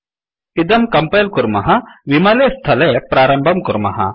इदं कम्पैल् कुर्मः विमले स्थले प्रारम्भं कुर्मः